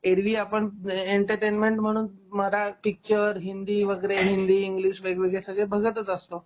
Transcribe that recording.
ऐरवी आपण एंटरटेनमेंट म्हणून मरा पिक्चर, हिन्दी वैगरे हिन्दी इंग्लिश वेळवेगळे सगळे बघतच असतो